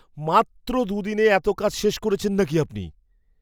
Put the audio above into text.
মাত্র দু'দিনে এত কাজ শেষ করেছেন নাকি আপনি!